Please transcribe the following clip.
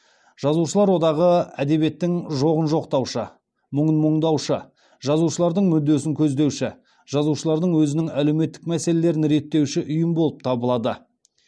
жазушылар одағы әдебиеттің жоғын жоқтаушы мұңын мұңдаушы жазушылардың мүддесін көздеуші жазушылардың өзінің әлеуметтік мәселелерін реттеуші ұйым болып табылады